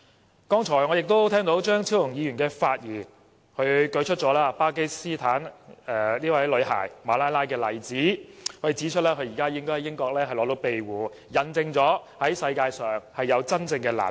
我剛才聽到張超雄議員發言，他舉出巴基斯坦女孩馬拉拉的例子，指出她現時應該在英國獲得庇護，引證世界上有真正難民。